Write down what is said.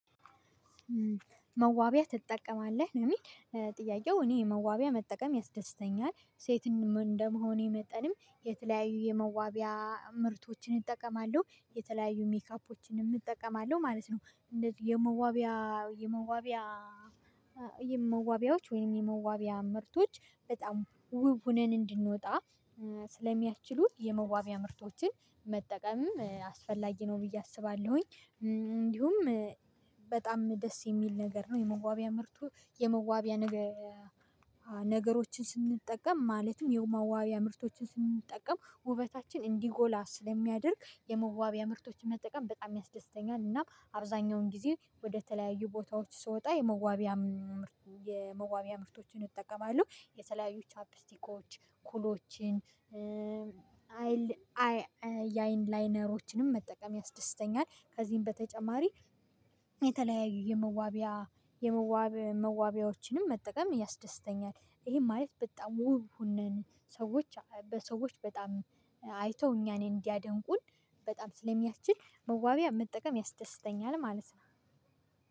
መዋቢያ ትጠቀማለህ? እኔ መዋቢያ መጠቀም ያስደስተኛል ሴትም እንደ መሆኔ መጠንም የተለያዩ የመዋቢያ ምርቶችን እጠቀማለሁ የተለያዩ ሜካፖችንም እጠቀማለሁ ማለት ነው። የመዋቢያ መዋቢያ ወይምን የመዋቢያ ምርቶች በጣም ዉብ ሁነን እንድንወጣ ስለ ሚያስቺሉን የመዋቢያ መጠቀምም አስፈላጊ ነው ብዬ አስባለሁኝ። እንዲሁም በጣም ደስ የሚል ነገር ነው የመዋቢያ ምርቱ የመዋቢያ ነገሮችን ስንጠቀም ማለትም የመዋቢያ ምርቶችን ስንጠቀም ዉበታችን እንዲጎላ ስለ ሚያደርግ የመዋቢያ ምርቶችን መጠቀም በጣም ያስደስተኛል። እና አብዛኛውን ጊዜ ወደ ተለያዩ ቦታዎች ስወጣ የመዋቢያ ምርቶችን እጠቀማለሁ የተለያዩ ቻፒስቲኮች ኩሎችን የ አይን ላይነሮችንም መጠቀም ያስደስተኛል። ከዚህም በተጨማሪ የተለያዩ የመዋቢያ የመዋብ መዋቢያዎችን መጠቀም ያስደስተኛል። ይዬ ማለት በጣም ዉብ ሁነን ሰዎች በሰዎች በጣም አይተው እኛን እንዲያደንቁ በጣም ስለ ስለሚያስቺል መዋቢያ መጠቀም በጣም ያስደስተኛል።